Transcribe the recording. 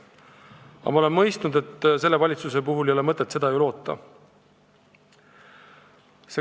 Aga ma olen mõistnud, et sellelt valitsuselt ei ole mõtet seda loota.